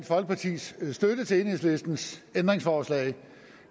folkepartis støtte til enhedslistens ændringsforslag